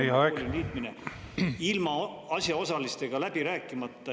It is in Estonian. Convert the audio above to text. … ehk Maarjamaa kooli alla liitmine – ilma asjaosalistega läbi rääkimata.